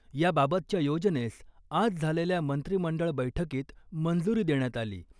याबाबतच्या योजनेस आज झालेल्या मंत्रिमंडळ बैठकीत मंजुरी देण्यात आली .